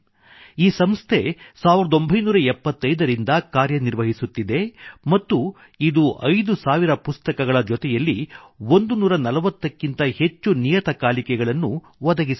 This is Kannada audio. ಈ ಸಂಸ್ಥೆ 1975 ರಿಂದ ಕಾರ್ಯ ನಿರ್ವಹಿಸುತ್ತಿದೆ ಮತ್ತು ಇದು 5000 ಪುಸ್ತಕಗಳ ಜೊತೆಯಲ್ಲಿ 140 ಕ್ಕಿಂತ ಹೆಚ್ಚು ನಿಯತಕಾಲಿಕೆಗಳನ್ನು ಮ್ಯಾಗಜಿನ್ ಒದಗಿಸುತ್ತದೆ